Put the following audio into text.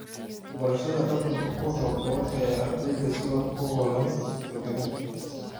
Barashada dhaqanka ku habboon ayaa ardayda si wax ku ool ah u hawlgelin karta.